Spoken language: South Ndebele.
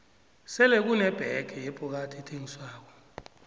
sele kune bege yebhokadi ethengiswako